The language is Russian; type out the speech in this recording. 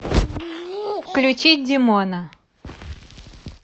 включить димона